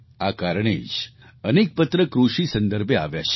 આ કારણે જ અનેક પત્ર કૃષિ સંદર્ભે આવ્યા છે